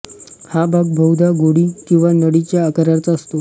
हा भाग बहुधा गोळी किंवा नळीच्या आकाराचा असतो